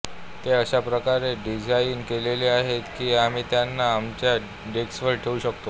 ते अशा प्रकारे डिझाइन केलेले आहेत की आम्ही त्यांना आमच्या डेस्कवर ठेवू शकू